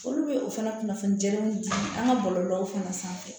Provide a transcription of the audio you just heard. Olu bɛ o fana kunnafoni jɛngɛnw di an ka bɔlɔlɔw fana sanfɛ